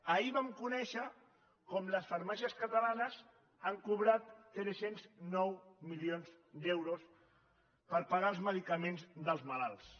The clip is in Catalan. ahir vam conèixer com les farmàcies catalanes han cobrat tres cents i nou milions d’euros per pagar els medicaments dels malalts